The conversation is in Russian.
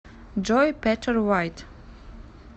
джой петер вайт